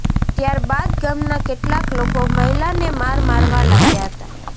ત્યારબાદ ગામના કેટલાક લોકો મહિલાને માર મારવા લાગ્યા હતા